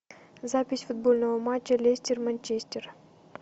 запись футбольного матча лестер манчестер